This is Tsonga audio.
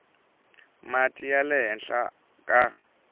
mati ya le henhla ka